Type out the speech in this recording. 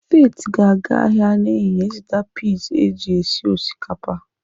Faith ga-aga ahịa n'ehihie ịzụta pis eji esi osikapa.